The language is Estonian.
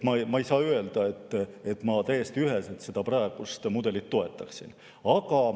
Ma ei saa öelda, et ma täiesti üheselt seda praegust mudelit toetaksin.